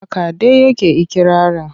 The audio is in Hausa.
Haka dai yake ikirarin.